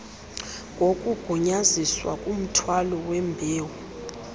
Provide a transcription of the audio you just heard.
ngokugunyazisiweyo kumthwalo wembewu